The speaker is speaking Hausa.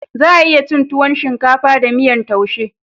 Za a iya cin tuwon shinkafa da miyan taushe